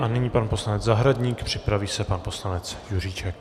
A nyní pan poslanec Zahradník, připraví se pan poslanec Juříček.